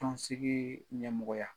Tɔnsigi ɲɛmɔgɔya